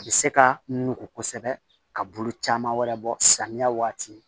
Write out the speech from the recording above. A bɛ se ka nugu kosɛbɛ ka bolo caman wɛrɛ bɔ samiya waati